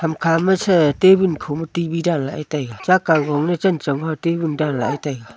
khama sa table khoma T V dan lah ae taega chak kang kho ma chen chon table dan lah taega.